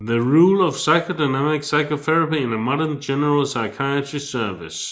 The role of psychodynamic psychotherapy in a modern general psychiatry service